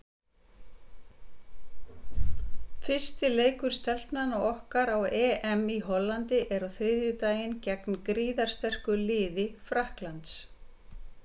Fyrsti leikur Stelpnanna okkar á EM í Hollandi er á þriðjudaginn gegn gríðarsterku liði Frakklands.